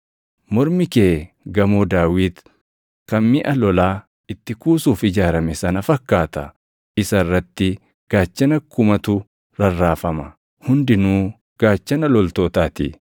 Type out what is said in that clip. Mormi kee gamoo Daawit kan miʼa lolaa itti kuusuuf ijaarame sana fakkaata; isa irratti gaachana kumatu rarraafama; hundinuu gaachana loltootaa ti.